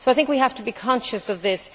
I think we have to be conscious of this.